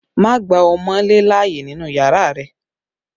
Don't allow wall-gecko in your room!